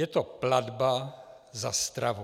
Je to platba za stravu.